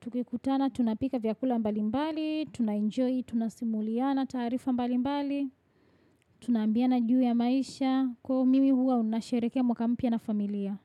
Tukikutana, tunapika vyakula mbalimbali, tunaenjoy, tunasimuliana taarifa mbalimbali. Tunaambiana juu ya maisha. Kwa mimi huwa nasherehekea mwaka mpya na familia.